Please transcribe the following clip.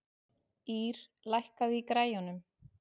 Ýr, lækkaðu í græjunum.